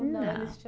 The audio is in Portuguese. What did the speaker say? Não, não tinha.